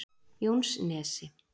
Jónsnesi